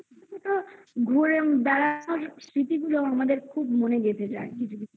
ঘুরে বেড়া সব স্মৃতি গুলো আমাদের খুব মনে গেঁথে যায়